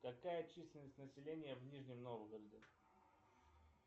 какая численность населения в нижнем новгороде